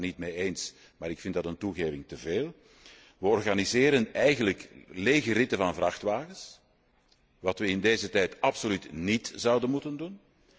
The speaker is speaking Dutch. De Raad is het daarmee niet eens, maar ik vind dat een toegeving te veel. Wij organiseren eigenlijk lege ritten van vrachtwagens hetgeen wij in deze tijd absoluut niet zouden moeten doen.